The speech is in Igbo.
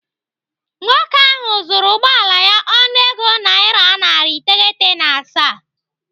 Nwoke ahụ zụrụ ụgbọala ya ọnụego naira narị iteghete na asaa.